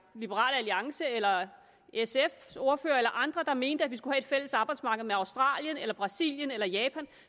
liberal alliance eller sf’s ordfører eller andre der mente at vi skulle have et fælles arbejdsmarked med australien eller brasilien eller japan